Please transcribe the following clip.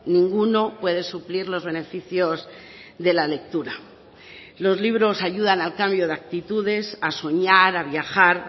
ninguno puede suplir los beneficios de la lectura los libros ayudan al cambio de actitudes a soñar a viajar